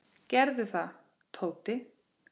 Gerðu það, Tóti!